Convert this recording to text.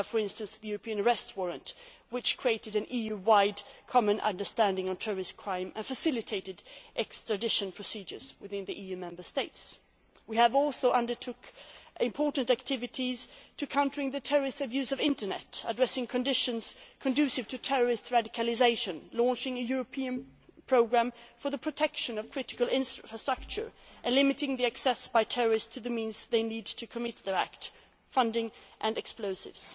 in this work. We have, for instance, the European arrest warrant, which created an EU wide common understanding on terrorist crime and facilitated extradition procedures within the EU Member States. We have also undertaken important activities to counter the terrorist abuse of the Internet, addressing conditions conducive to terrorist radicalisation, launching a European programme for the protection of critical infrastructure, and limiting access by terrorists to the means they need to commit their acts funding